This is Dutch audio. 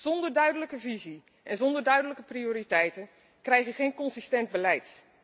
Zonder duidelijke visie en zonder duidelijke prioriteiten krijg je geen consistent beleid.